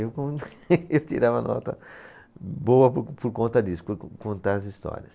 Eu eu tirava nota boa por por conta disso, por contar as histórias.